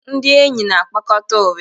Ndị enyi na-akpakọta ụrị